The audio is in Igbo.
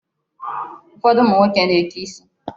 Ụfọdụ ụmụ nwoke na-eke isi.